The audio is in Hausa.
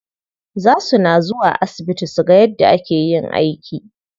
Za suna zuwa asibiti suga yadda ake yin aiki.